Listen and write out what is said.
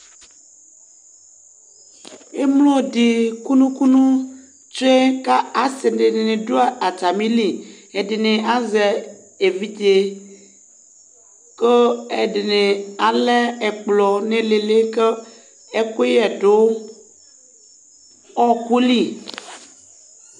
Émlodi kunukunu tsué ka asi dini du atamili Ɛdini azɛ évidjé ku ɛdini alɛ ɛkplɔ niilili ku ɛkuyɛ du ɔkuli